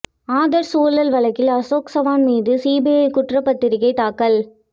ஆதர்ஷ் ஊழல் வழக்கில் அசோக் சவான் மீது சிபிஐ குற்றப் பத்திரிக்கை தாக்கல்